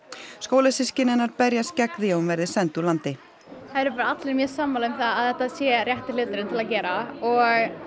skólasystkini hennar berjast gegn því að hún verði send úr landi það eru allir mjög sammála um að þetta sé rétti hluturinn til að gera og